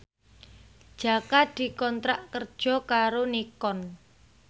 Jaka dikontrak kerja karo Nikon